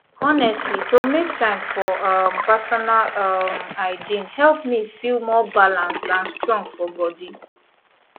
honestly to make time for um personal um hygiene help me feel more balanced and strong for body